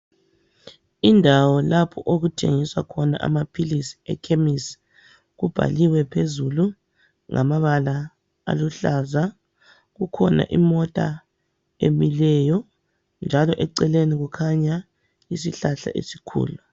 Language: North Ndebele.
Indawo lapho okuthengiswa khona amaphilisi ekhemisi kubhaliwe phezulu ngamabala aluhlaza kukhona imota emileyo njalo eceleni kukhanya isihlahla esikhulu.